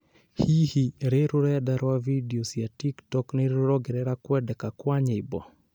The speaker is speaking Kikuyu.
Hihi rĩ rũrenda rwa video cia TikTok nĩrũrongerera kwendeka Kwa nyĩmbo?